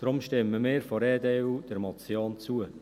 Daher stimmen wir von der EDU der Motion zu.